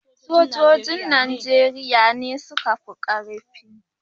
Sojojin Najeriya ne suka fi ƙarfi